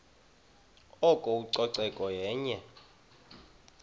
oko ucoceko yenye